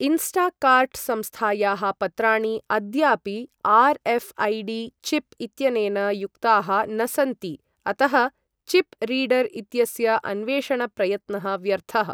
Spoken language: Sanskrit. इन्स्टाकार्ट् संस्थायाः पत्राणि अद्यापि आर्.एऴ्.ऐ.डि. चिप् इत्यनेन युक्ताः न सन्ति, अतः चिप् रीडर् इत्यस्य अन्वेषण प्रयत्नः व्यर्थः।